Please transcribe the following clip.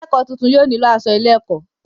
akẹ́kọ̀ọ́ tuntun yóò nílò asọ ilé-ẹ̀kọ́.